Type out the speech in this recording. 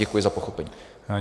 Děkuji za pochopení.